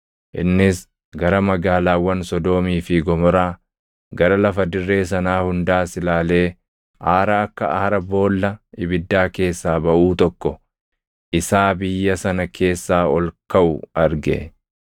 Innis gara magaalaawwan Sodoomii fi Gomoraa, gara lafa dirree sanaa hundaas ilaalee aara akka aara boolla ibiddaa keessaa baʼuu tokko isaa biyya sana keessaa ol kaʼu arge.